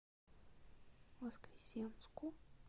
воскресенску